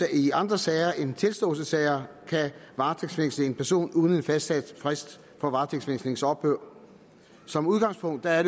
i andre sager end tilståelsessager kan varetægtsfængsle en person uden en fastsat frist for varetægtsfængslingens ophør som udgangspunkt er